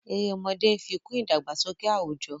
Èrè ọmọdé nfi kún idagbasọkẹ awujo.